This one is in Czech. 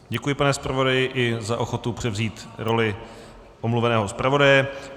Děkuji, pane zpravodaji, i za ochotu převzít roli omluveného zpravodaje.